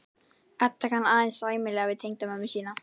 Edda kann aðeins sæmilega við tengdamömmu sína.